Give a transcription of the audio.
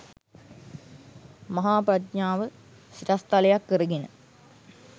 මහා ප්‍රඥාව සිරස්තලයක් කරගෙන